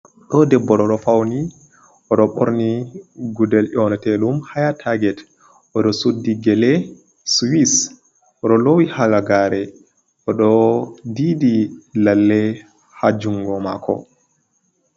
Ɗo debbo oɗo fauni oɗo ɓorni gudel nyonteɗum haya taget, oɗo suddi gele swiss, oɗo lowi halagare oɗo didi lalle ha jungo mako.